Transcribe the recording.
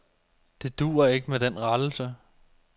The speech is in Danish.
Det duer ikke med den rettelse.